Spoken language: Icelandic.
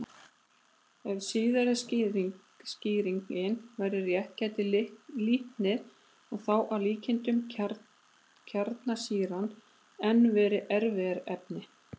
Ef síðari skýringin væri rétt gæti litnið, og þá að líkindum kjarnsýran, enn verið erfðaefnið.